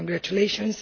So congratulations.